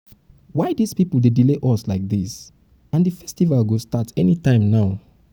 why dis people dey delay um us um like dis and um the festival go start anytime now